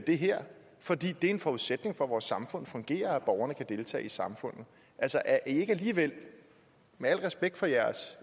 det her for det er en forudsætning for at vores samfund fungerer at borgerne kan deltage i samfundet altså er i ikke alligevel med al respekt for jeres